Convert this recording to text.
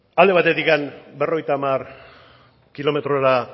alde batetik berrogeita hamar kilometrora